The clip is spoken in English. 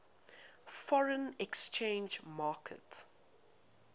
foreign exchange market